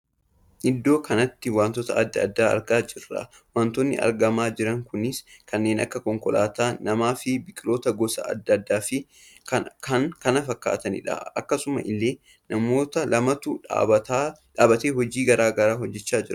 Iddoo kanatti wantoota addaa addaa argaa jirra. wantootni argamaa jiran kunis kanneen akka konkolaataa, nama fi biqiloota gosa addaa addaa fi kan kana fakkaatanidha. akkasuma illee namoota lamatu dhaabbatee hojii garaagaraa hojjechaa jira.